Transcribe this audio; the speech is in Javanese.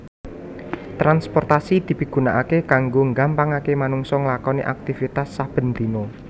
Transportasi dipigunaaké kanggo nggampangaké manungsa nglakoni aktifitas saben dina